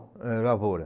Ãh, Lavoura.